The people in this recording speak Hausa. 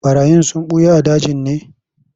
Ɓarayin sun ɓuya a dajin ne?